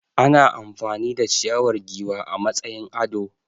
Ana amfani da ciyawar giwa a matsayin ado.